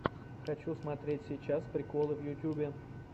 хочу смотреть сейчас приколы в ютубе